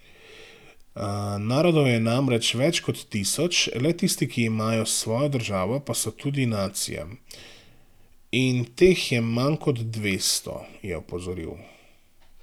Narodov je namreč več kot tisoč, le tisti, ki imajo svojo državo, pa so tudi nacija, in teh je manj kot dvesto, je opozoril.